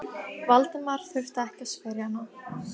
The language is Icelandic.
Valdimar þurfti ekki að spyrja hana.